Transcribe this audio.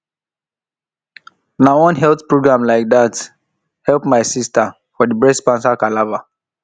na one health program like that help my sister for the breast cancer palava